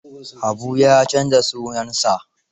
Habu ya canza sunansa.